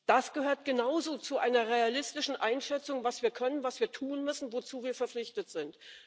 Das gehört genauso zu einer realistischen Einschätzung, was wir können, was wir tun müssen, wozu wir verpflichtet sind.